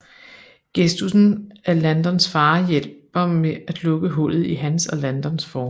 Gestussen af Landons far hjælper med at lukke hullet i hans og Landons forhold